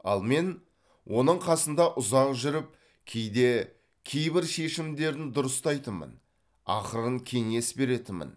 ал мен оның қасында ұзақ жүріп кейде кейбір шешімдерін дұрыстайтынмын ақырын кеңес беретінмін